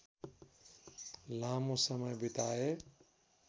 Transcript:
लामो समय बिताए